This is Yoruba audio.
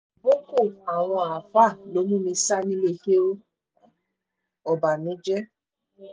bọ̀ọ́kọ́ àwọn àáfàá ló mú mi sá nílé kéwu-ọbànújẹ́